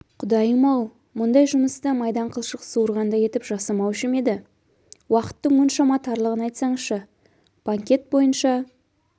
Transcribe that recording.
құдайым-ау мұндай жұмысты майдан қылшық суырғандай етіп жасамаушы ма еді уақыттың мұншама тарлығын айтсаңшы банкент бойынша